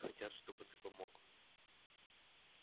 они хотят чтобы ты помог